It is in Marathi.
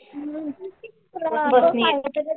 Unclear